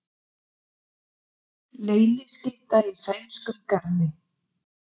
Leyniskytta í sænskum garði